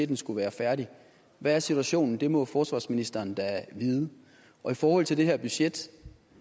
den skulle være færdig hvad er situationen det må forsvarsministeren da vide og i forhold til det her budget